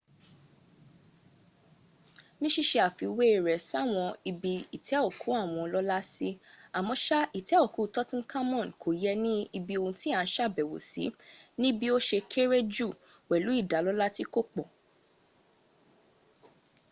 ní síse àfiwé rẹ̀ sáwọn ibi ìtẹ́ òkú àwọn ọlọ́lá sí àmọ́ṣà ìtẹ́ òkú tutankhamun kò yẹ ní ohun tí à ń sàbẹ̀wò sí níbí ó se kére jù pẹ̀lú ìdálọ́lá tí kò pọ̀